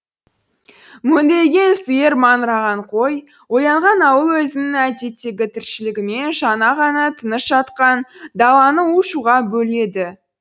мөңіреген сиыр маңыраған қой оянған ауыл өзінің әдеттегі тіршілігімен жаңа ғана тыныш жатқан даланы у шуға бөледі